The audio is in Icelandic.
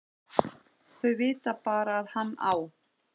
Þau vita bara að hann á